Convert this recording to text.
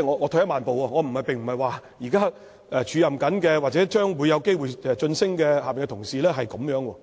我並不是說，現在署任或者將會有機會晉升的同事是這樣，